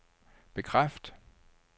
bekræft